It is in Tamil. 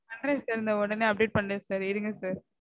பண்றேன் sir தோ உடனே update பண்றேன் sir இருங்க sir